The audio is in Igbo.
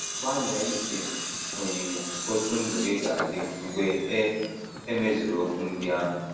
Gbalịa ise onyinyo otú ndụ gị ga - adị mgbe e e mezuru okwu ndị ahụ.